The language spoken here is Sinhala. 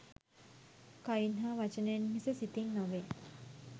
කයින් හා වචනයෙන් මිස සිතින් නොවේ.